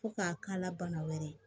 Fo k'a k'ala bana wɛrɛ ye